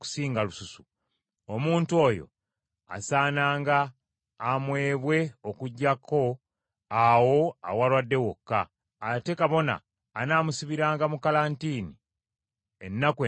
omuntu oyo asaananga amwebwe okuggyako awo awalwadde wokka; ate kabona anaamusibiranga mu kalantiini ennaku endala musanvu.